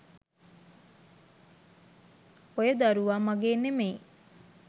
ඔය දරුවා මගේ නෙමේයි